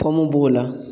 Kɔn mo b'o la